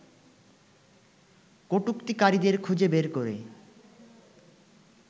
কটুক্তিকারীদের খুঁজে বের করে